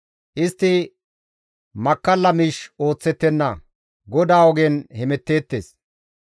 Istti makkalla miish ooththettenna; GODAA ogen hemetteettes.